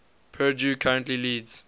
purdue currently leads